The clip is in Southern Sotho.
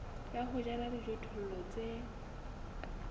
ya ho jala dijothollo tse